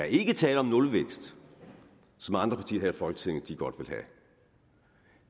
ikke tale om nulvækst som andre partier her i folketinget godt